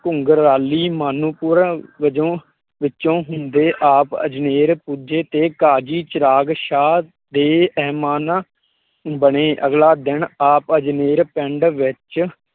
ਘੁਗਰਾਲੀ ਮਾਨੂੰਪੁਰ ਵਜੋਂ ਵਿਚੋਂ ਹੁੰਦੇ ਆਪ ਅਜਨੇਰ ਪੁੱਜੇ ਤੇ ਕਾਜ਼ੀ ਚਿਰਾਗ ਸ਼ਾਹ ਦੇ ਬਣੇ ਅਗਲਾ ਦਿਨ ਆਪ ਅਜਨੇਰ ਪਿੰਡ ਵਿੱਚ